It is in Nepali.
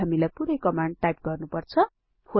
के हामीलाई पुरै कमाण्ड पुनः टाइप गर्नुपर्छ